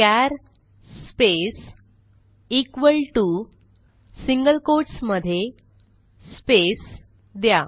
चार space equal to single quotes मध्ये space द्या